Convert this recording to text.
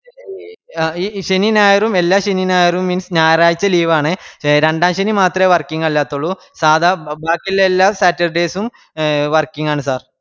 ആഹ് ഈ ശനി ഞായറും എല്ലാ ശെനി ഞായറും means ഞാറായ്ച്ച ലീവ് ആണ് രണ്ടാം ശെനിമത്രെ working അല്ലാതുള്ളൂ സാധാ ബാക്കിയുള്ള എല്ലാ saturday സും working ആണ് sir